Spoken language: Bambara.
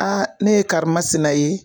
ne ye karimasina ye.